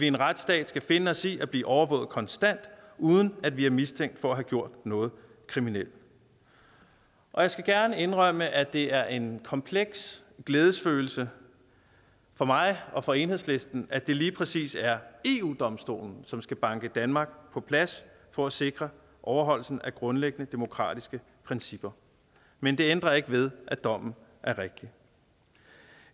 en retsstat skal finde os i at blive overvåget konstant uden at vi er mistænkt for at have gjorde noget kriminelt og jeg skal gerne indrømme at det er en kompleks glædesfølelse for mig og for enhedslisten at det lige præcis er eu domstolen som skal banke danmark på plads for at sikre overholdelsen af grundlæggende demokratiske principper men det ændrer ikke ved at dommen er rigtig